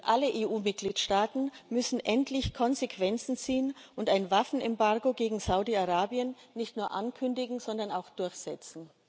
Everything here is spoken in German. Alle EU Mitgliedstaaten müssen endlich Konsequenzen ziehen und ein Waffenembargo gegen Saudi Arabien nicht nur ankündigen, sondern auch durchsetzen.